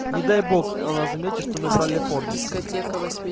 не дай бог она заметит что мы брали фордик